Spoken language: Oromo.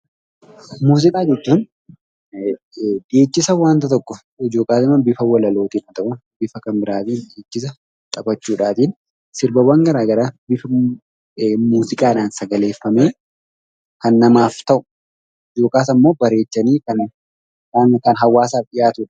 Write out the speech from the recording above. Muuziqaa jechuun dhiichisa wanta tokko ykn bifa walalootiin ha ta'u, bifa Kan biraatiin dhiichisa taphachuudhaatiin sirbawwan garagaraa bifa muuziqaadhaan sagaleeffamee Kan namaaf ta'u yookas ammoo bareechanii Kan hawaasaaf dhiyaatudha.